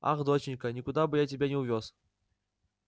ах доченька никуда бы я тебя не увёз